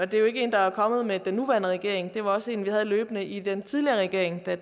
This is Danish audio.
det er ikke en der er kommet med den nuværende regering det var også en vi havde løbende i den tidligere regering da